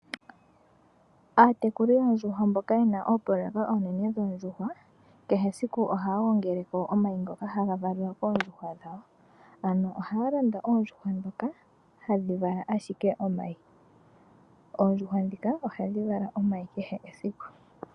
Aatekuli yoondjuhwa mboka yena oopoloyeka oonene dhoondjuhwa, kehe esiku ohaya gongeleko omayi ngoka hagavaliwa koondjuhwa dhawo. Aantu ohaya landa oondjuhwa dhoka hadhi vala ashike omayi. Oondjuhwa dhika ohadhi vala omayi kehe esiku.